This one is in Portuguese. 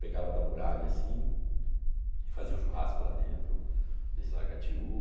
Pegava da muralha assim e fazia um churrasco lá dentro desse lagatiú.